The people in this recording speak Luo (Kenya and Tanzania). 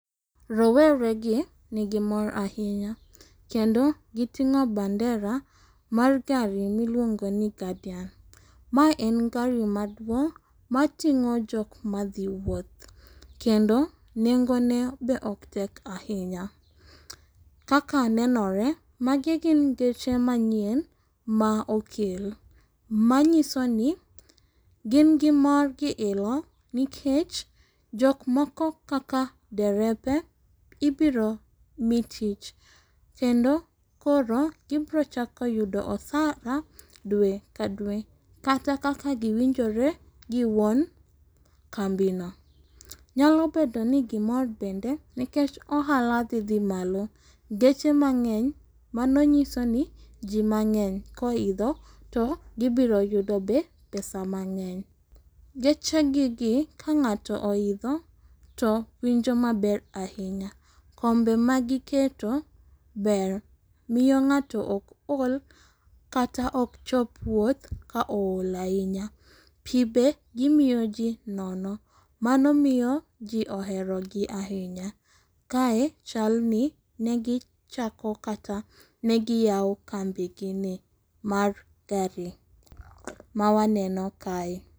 Roweregi nigi mor ahinya kendo gi ting'o bandera mar gari miluongoni guardian. Ma en gari maduong' mating'o jok madhi wuoth. Kendo nengo ne be ok tek ahinya. Kaka nenore magi gin geche manyien ma okel. Manyisoni gin gi mor gi ilo nikech jok moko kaka derepe ibiro mi tich. Kendo koro gibiro chako yudo osara dwe ka dwe kata kaka giwinjore giwuon kambino. Nyalo bedoni gimor bende nikech ohala dhidhi malo geche mang'eny mano nyisoni jii mang'eny koidho to gi biro yudo be pesa mang'eny. Geche gigi ka ng'ato oidho to winjo maber ahinya. Kombe magi keto ber. miyo ng'ato ok ool kata ok chop wuoth ka ool ahinya. Pii be gimiyo ji nono. Mano miyo ji oherogi ahinya. Kae chalni negi chako kata negi yawo kambigini mar gari mawawaneno kae.